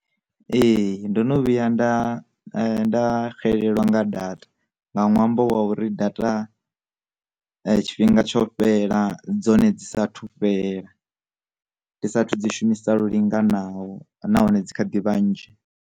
Ee, ndono vhuya nda nda xelelwa nga data nga nwambo wa uri data tshifhinga tsho fhela dzone dzi sathu fhela, ndi sathu dzi shumisa linganaho nahone dzi kha ḓi vhanzhi.